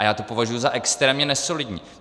A já to považuji za extrémně nesolidní.